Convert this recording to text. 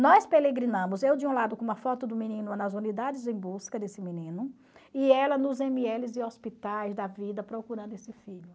Nós eu de um lado com uma foto do menino nas unidades em busca desse menino e ela nos e hospitais da vida procurando esse filho.